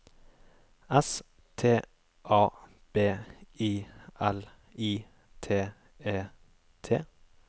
S T A B I L I T E T